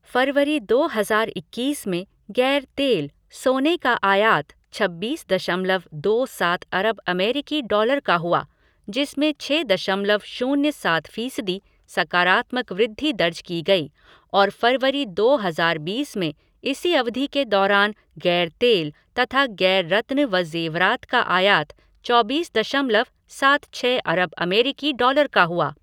फरवरी दो हजार इक्कीस में गैर तेल, सोने का आयात छब्बीस दशमलव दो सात अरब अमेरिकी डॉलर का हुआ जिसमें छः दशमलव शून्य सात फीसदी सकारात्मक वृद्धि दर्ज की गई और फरवरी दो हजार बीस में इसी अवधि के दौरान गैर तेल तथा गैर रत्न व जेवरात का आयात चौबीस दशमलव सात छः अरब अमेरिकी डॉलर का हुआ।